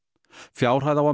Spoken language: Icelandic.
fjárhæð á að